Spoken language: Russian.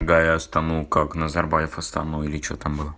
да я стану как назарбаев астану или что там было